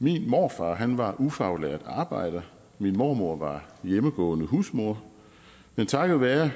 min morfar var ufaglært arbejder og min mormor var hjemmegående husmor men takket være